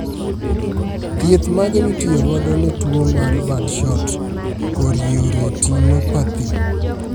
Thieth mage mitiyo godo ne tuo mar birdshot chorioretinopathy?